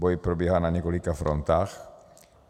Boj probíhá na několika frontách.